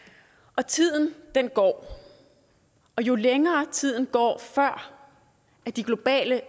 og tiden går og jo længere tiden går før de globale